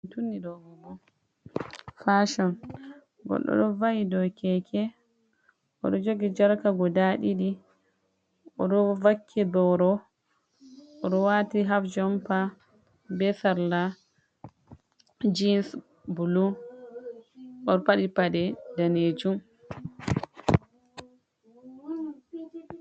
Fashon goɗɗo ɗo va’i dow Keke, o ɗo jogi jarka guda ɗiɗi, o ɗo vakki boro o ɗo wati haf jompa be sarla jins bulu o ɗo paɗi paɗe danejum.